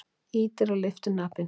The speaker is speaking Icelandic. Ýtir á lyftuhnappinn.